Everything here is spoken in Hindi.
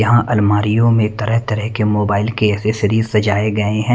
यहां अलमारीयों में तरह तरह के मोबाइल के एसेसरीज सजाए गए हैं।